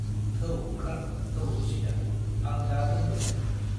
थौ ओंखार थौ रुसिदा, आं दा दोनबोगोन।